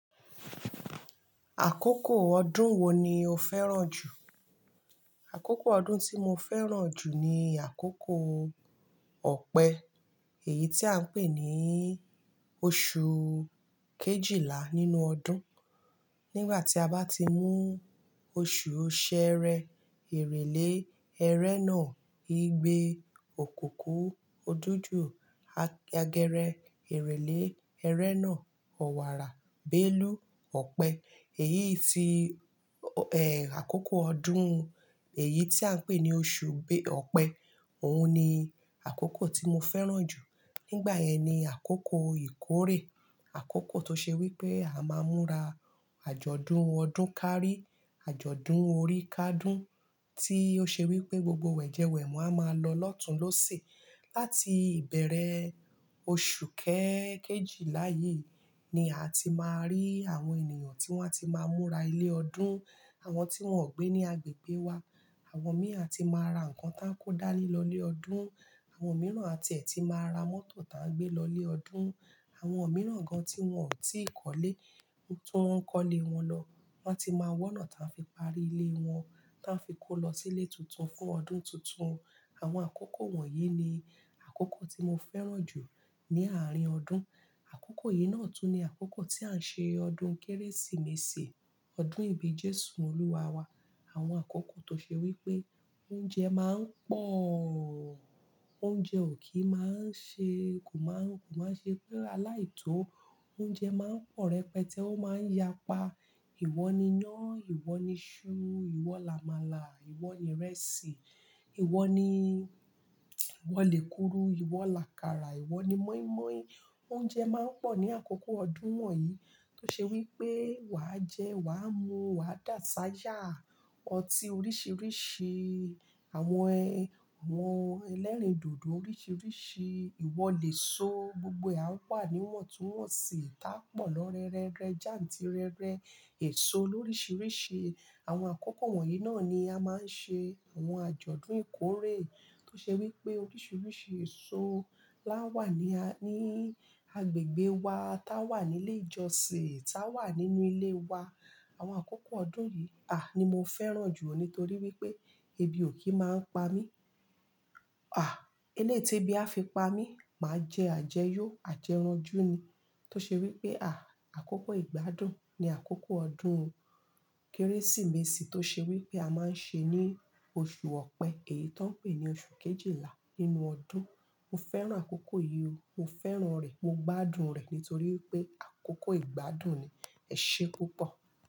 Àkókò ọdún wo ni o fẹ́ràn jù? Àkókò ọdún tí mo fẹ́ràn jù ni àkókò ọpẹ. Èyí tí à ń pè ní oṣù kejìlá nínú ọdún. Nígbà tí a bá ti mú oṣù Ṣẹẹrẹ, Èrèlé, Ẹrẹ́nà, igbe, òkùkù, òdújú, agẹrẹ, èrèlé, Ẹrẹ́nà, ọ̀wàrà, Bélú, ọpẹ. Èyí tí, àkókò ọdún èyí tí à ń pè ní oṣù ọpẹ. Òun ni àkókò tí mo fẹ́ràn jù. Nígbà yẹn ni àkókò ìkórè. Àkókò tó ṣe wí pé a máa ń múra àjọ̀dún ọdún kárí, àjọ̀dún orí kádún tí ó ṣe wí pé gbogbo wẹ̀jẹwẹ̀mu a máa lọ lọ́tùn ló si. Láti ìbẹ̀rẹ̀ oṣù kẹ kejìlá yìí ni a ti máa rí àwọn ènìyàn tí wọ́n á ti máa múra ilé ọdún, àwọn tí wọ́n ò gbé ní agbègbè wa. Àwọn mìí a tí máa ra nǹkan táa ń kó dáni lọ lé ọdún. Àwọn mìí àti ẹ̀ ti máa ra mọ́tò táa ń gbé lọ lé ọdún. Àwọn mìí gan tí wọ́n ò tí ì kọ́lé, tún wọn ń kọ́lé wọn lọ. Wọ́n ti máa wọ́nà tí wọ́n fi parí ilé wọn, táa fi kó lọ sílé tuntun fún ọdún tuntun. Àwọn àkókò wọ̀nyí ni àkókò tí mo fẹ́ràn jù ní àárín ọdún. Àkókò yìí náà tún ni àkókò tí à ń ṣe ọdún Kérésìmesì, ọdún ìbí Jésù Olúwa wa. Àwọn àkókò tó ṣe wí pé oúnjẹ máa ń pọ̀. Oúnjẹ ò kí máa ń ṣe, kò máa ń ṣe pé aláìtó. Oúnjẹ máa ń pọ̀ rẹpẹtẹ, ó máa ń yapa. Iwọ ni iná, iwọ ni iṣu, iwọ làmàlà, iwọ ni ìrẹsì, iwọ ni ìwọ lè kuru, iwọ làkàrà, iwọ ni mọ́ímọ́í. Oúnjẹ máa ń pọ̀ ní àkókò ọdún wọ̀nyí tó ṣe wí pé wà á jẹ, wà á mu, wà á dà ṣáyá. Ọtí oríṣìíríṣìí, àwọn àwọn ẹlẹ́rìndòdò oríṣìíríṣìí, ìwọ lè so. Gbogbo e wà ní iwontunwonsi. Tà pọ̀ lórere rẹ, jantirẹrẹ, èso lóríṣìíríṣìí. Àwọn àkókò wọ̀nyí náà ni a máa ń ṣe àwọn àjọ̀dún ìkórè tó ṣe wí pé oríṣìíríṣìí èso lá wà ní ní agbègbè wa, tá wà nílé ìjọsìn, tá wà nínú ilé wa. Àwọn àkókò ọdún yìí ni mo fẹ́ràn jù nítorí wí pé ebi ò kí máa ń pa mí. À, eleyi ti ebí a fi pa mí, màá jẹ àjẹyọ, àjẹranjú ni. Tó ṣe wí pé àkókò ìgbádùn ni àkókò ọdún Kérésìmesì tó ṣe wí pé a máa ń ṣe ní oṣù ọpẹ, èyí tó ń pè ní oṣù kejìlá nínú ọdún. Mo fẹ́ràn àkókò yìí o. Mo fẹ́ràn rẹ̀. Mo gbádùn rẹ̀ nítorí wí pé àkókò ìgbádùn ni. Ẹ ṣé púpọ̀.